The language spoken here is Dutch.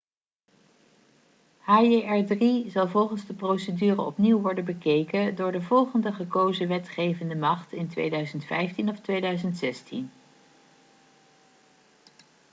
hjr-3 zal volgens de procedure opnieuw worden bekeken door de volgende gekozen wetgevende macht in 2015 of 2016